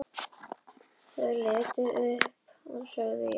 Ég horfi á hana í laufi trjánna og heyri hana í skrjáfi þess.